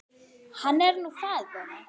Hann er nú faðir þeirra.